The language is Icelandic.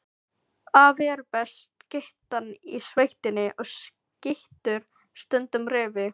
Afi er besta skyttan í sveitinni og skýtur stundum refi.